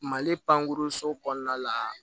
Mali pankurun so kɔnɔna la